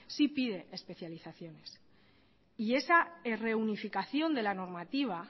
sí pide especializaciones y esa reunificación de la normativa